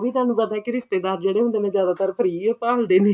ਉਹ ਵੀ ਤੁਹਾਨੂੰ ਪਤਾ ਕੀ ਰਿਸ਼ਤੇਦਾਰ ਜਿਹੜੇ ਹੁੰਦੇ ਨੇ ਜਿਆਦਾਤਰ free ਓ ਭਾਲਦੇ ਨੇ